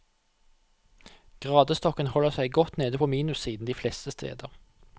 Gradestokken holder seg godt nede på minussiden de fleste steder.